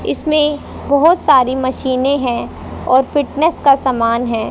इसमें बहोत सारी मशीने हैं और फिटनेस का समान है।